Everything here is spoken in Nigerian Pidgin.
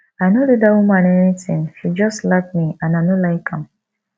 i no do dat woman anything she just slap me and i no like am